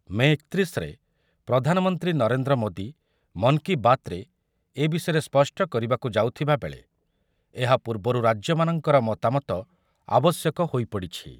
ମେ ଏକତିରିଶ ରେ ପ୍ରଧାନମନ୍ତ୍ରୀ ନରେନ୍ଦ୍ର ମୋଦୀ ମନ୍‌ କି ବାତରେ ଏ ବିଷୟରେ ସ୍ପଷ୍ଟ କରିବାକୁ ଯାଉଥିବାବେଳେ ଏହା ପୂର୍ବରୁ ରାଜ୍ୟମାନଙ୍କର ମତାମତ ଆବଶ୍ୟକ ହୋଇପଡ଼ିଛି ।